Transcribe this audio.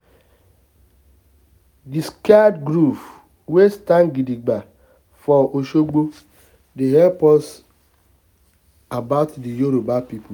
di sacred groove wey stand gidigba for oshogo dey tell us about the yoruba pipo